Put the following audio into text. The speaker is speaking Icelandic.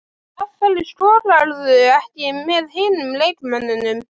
Af hverju skokkarðu ekki með hinum leikmönnunum?